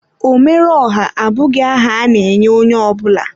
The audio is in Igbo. Omere ọha abụghị aha a na-enye onye ọ bụla.